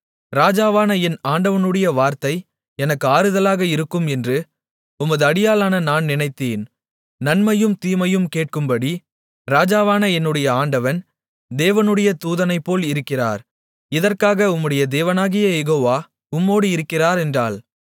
ராஜாவான என் ஆண்டவனுடைய வார்த்தை எனக்கு ஆறுதலாக இருக்கும் என்று உமது அடியாளான நான் நினைத்தேன் நன்மையையும் தீமையையும் கேட்கும்படி ராஜாவான என்னுடைய ஆண்டவன் தேவனுடைய தூதனைப்போல இருக்கிறார் இதற்காக உம்முடைய தேவனாகிய யெகோவா உம்மோடு இருக்கிறார் என்றாள்